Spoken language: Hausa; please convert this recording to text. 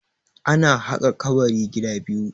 ana haka kabari gida biyu